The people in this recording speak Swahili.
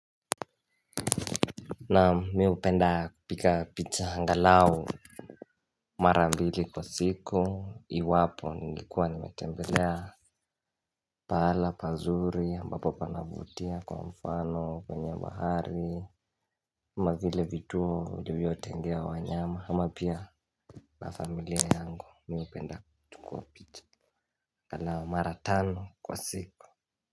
Naam mimi hupenda kupiga picha angalau Mara mbili kwa siku iwapo ningekuwa nimetembelea Pahala pazuri ambapo panavutia kwa mfano kwenye bahari kama vile vituo vilivyo tengewa wanyama ama pia na familia yangu mimi hupenda kupiga picha angalau mara tano kwa siku.